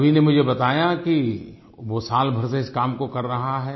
अभि ने मुझे बताया कि वो साल भर से इस काम को कर रहा है